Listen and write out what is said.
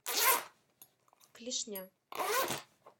клешня